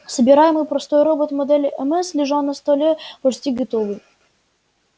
собираемый простой робот модели мс лежал на столе почти готовый